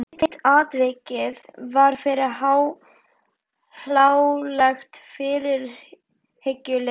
Hitt atvikið varð fyrir hlálegt fyrirhyggjuleysi.